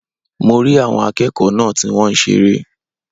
Mo rí àwọn akéèkòó náà ti wón seré